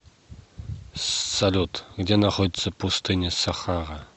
салют где находится пустыня сахара